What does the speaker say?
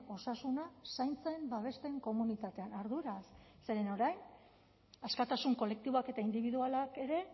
osasuna zaintzen babesten komunitatean arduraz zeren orain askatasun kolektiboak eta indibidualak ere